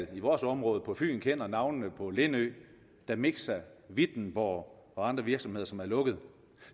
vores område på fyn udmærket kender navnene på lindø damixa wittenborg og andre virksomheder som er lukket